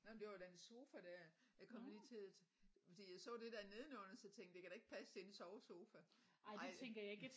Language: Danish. Nåh men det var den sofa der jeg kom lige til at fordi jeg så det der nedenunder så tænkte det kan da ikke passe det er en sovesofa nej